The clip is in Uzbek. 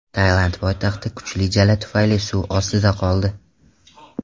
Tailand poytaxti kuchli jala tufayli suv ostida qoldi .